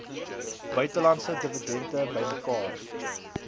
buitelandse dividende bymekaar